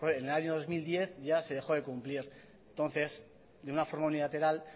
en el año dos mil diez ya se dejó de cumplir entonces de una forma unilateral